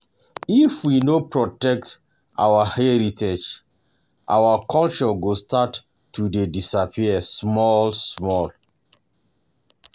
um If we no protect um our heritage, our culture go start to dey disappear um small small.